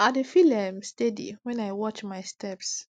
i dey feel um steady when i watch my steps